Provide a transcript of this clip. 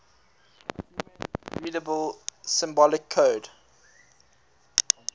human readable symbolic code